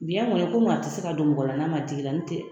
Biyɛn kɔni , kɔmi a tɛ se ka don mɔgɔ n'a ma digi i la n'tɛ